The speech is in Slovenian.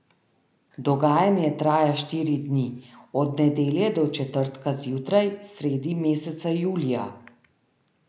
Dogajanje traja štiri dni, od nedelje do četrtka zjutraj, sredi meseca julija.